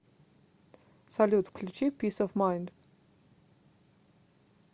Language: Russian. салют включи пис оф майнд